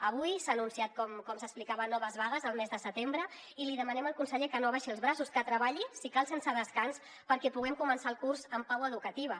avui s’han anunciat com s’explicava noves vagues el mes de setembre i li demanem al conseller que no abaixi els braços que treballi si cal sense descans perquè puguem començar el curs en pau educativa